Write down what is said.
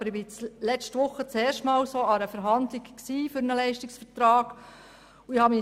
ich war letzte Woche erstmals bei einer Verhandlung für einen Leistungsvertrag dabei.